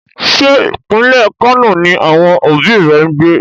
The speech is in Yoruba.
Ṣé pínlẹ̀ Kano ni àwọn òbí rẹ ń gbé?